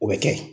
O bɛ kɛ